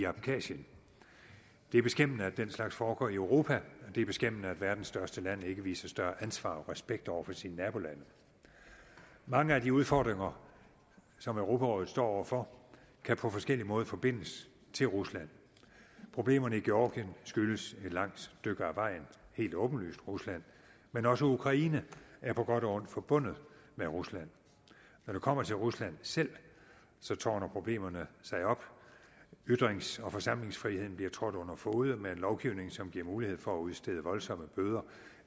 abkhasien det er beskæmmende at den slags foregår i europa og det er beskæmmende at verdens største land ikke viser større ansvar og respekt over for sine nabolande mange af de udfordringer som europarådet står over for kan på forskellig måde forbindes til rusland problemerne i georgien skyldes et langt stykke ad vejen helt åbenlyst rusland men også ukraine er på godt og ondt forbundet med rusland når det kommer til rusland selv tårner problemerne sig op ytrings og forsamlingsfriheden bliver trådt under fode med en lovgivning som giver mulighed for at udstede voldsomme bøder